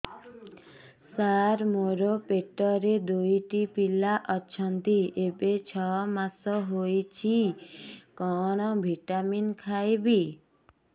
ସାର ମୋର ପେଟରେ ଦୁଇଟି ପିଲା ଅଛନ୍ତି ଏବେ ଛଅ ମାସ ହେଇଛି କଣ ଭିଟାମିନ ଖାଇବି